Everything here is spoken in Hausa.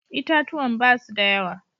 Itatuwan ba su da yawa.